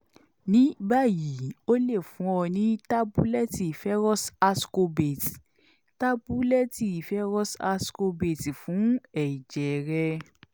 nibayi o le fun ọ ni tabulẹti ferrous ascorbate tabulẹti ferrous ascorbate fun ẹjẹ rẹ